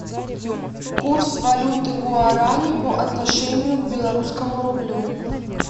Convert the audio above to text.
курс валюты гуарани по отношению к белорусскому рублю